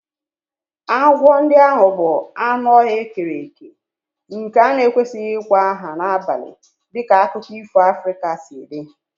Agwọ ndị ahụ bụ anụ ọhịa e kere eke nke a na-ekwesịghị ịkpọ aha n'abalị dịka akụkọ ifo Africa si dị